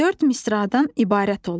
Dörd misradan ibarət olur.